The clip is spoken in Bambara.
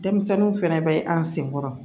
Denmisɛnninw fɛnɛ bɛ an sen kɔrɔ